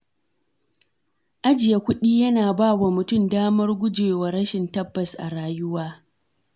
Ajiye kuɗi yana ba mutum damar gujewa rashin tabbas a rayuwa.